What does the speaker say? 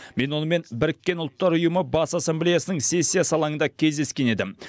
мен онымен біріккен ұлттар ұйымы бас ассамблеясының сессиясы алаңында кездескен едім